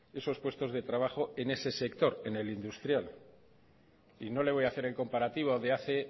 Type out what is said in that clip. esos puestos de trabajo en ese sector en el industrial y no le voy a hacer en comparativo de hace